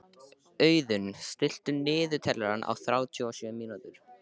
Auðunn, stilltu niðurteljara á þrjátíu og sjö mínútur.